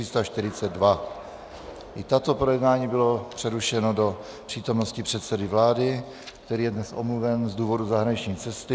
I toto projednání bylo přerušeno do přítomnosti předsedy vlády, který je dnes omluven z důvodu zahraniční cesty.